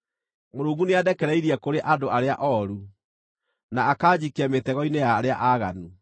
Mũrungu nĩandekereirie kũrĩ andũ arĩa ooru, na akanjikia mĩtego-inĩ ya arĩa aaganu.